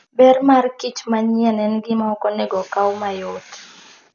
Ber mar kich manyien en gima ok onego okaw mayot.